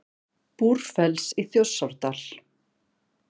Búrfells í Þjórsárdal.